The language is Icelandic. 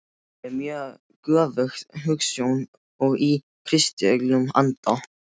Það er göfug hugsjón og í kristilegum anda.